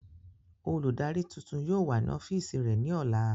Oludari tuntun yóò wa ni ọfiisi rẹ ni ọla.